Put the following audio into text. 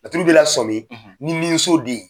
laturu b'i lasɔmi ni miso den ye